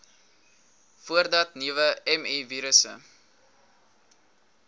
voordat nuwe mivirusse